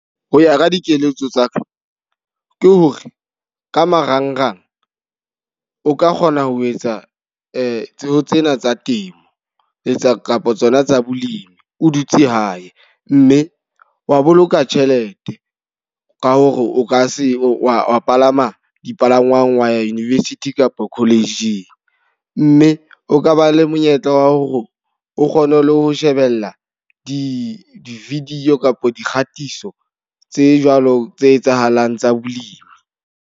Ho ya ka dikeletso tsa ka, ke hore ka marangrang o ka kgona ho etsa tseo tsena tsa temo le tsa kapa tsona tsa bolemi o dutse hae. Mme wa boloka tjhelete, ka hore o ka se wa wa palama dipalangwang wa ya university kapa college-ng. Mme o ka ba le monyetla wa hore o kgone le ho shebella di-video kapa dikgatiso tse jwalo tse etsahalang tsa bolemi.